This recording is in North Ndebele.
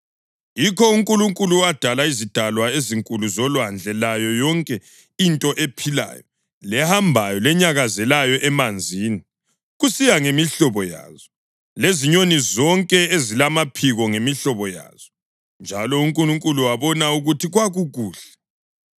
Yikho uNkulunkulu wadala izidalwa ezinkulu zolwandle layo yonke into ephilayo lehambayo lenyakazelayo emanzini, kusiya ngemihlobo yazo, lezinyoni zonke ezilamaphiko, ngemihlobo yazo. Njalo uNkulunkulu wabona ukuthi kwakukuhle.